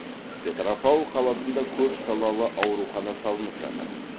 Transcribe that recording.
петропавл қаласында көп салалы аурухана салынып жатыр